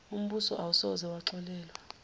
umbuso awusoze waxolelwa